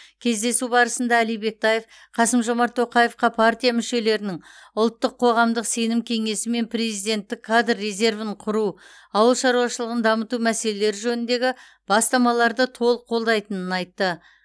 кездесу барысында әли бектаев қасым жомарт тоқаевқа партия мүшелерінің ұлттық қоғамдық сенім кеңесі мен президенттік кадр резервін құру ауыл шаруашылығын дамыту мәселелері жөніндегі бастамаларды толық қолдайтынын айтты